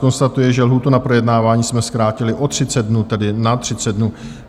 Konstatuji, že lhůtu na projednávání jsme zkrátili o 30 dnů, tedy na 30 dnů.